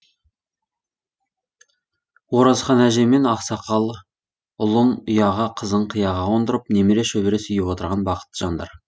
оразхан әже мен ақсақалы ұлын ұяға қызын қиыға қондырып немере шөбере сүйіп отырған бақытты жандар